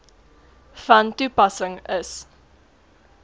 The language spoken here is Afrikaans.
van toepassing is